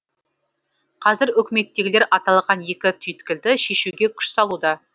қазір үкіметтегілер аталған екі түйткілді шешуге күш салуда